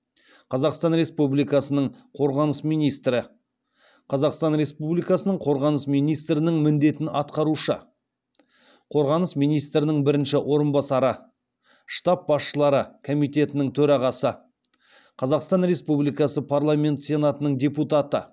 қазақстан республикасының қорғаныс министрі қазақстан республикасының қорғаныс министрінің міндетін атқарушы қорғаныс министрінің бірінші орынбасары штаб басшылары комитетінің төрағасы қазақстан республикасы парламенті сенатының депутаты